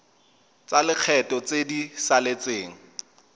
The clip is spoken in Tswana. tsa lekgetho tse di saletseng